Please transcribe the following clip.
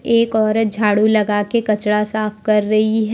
एक औरत झाड़ू लगाके कचरा साफ कर रही है।